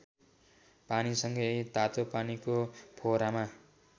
पानीसँगै तातोपानीको फोहरामा